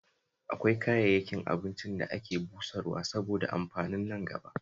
Akwai kayayyakin abincin da ake busarwa saboda amfanin nangaba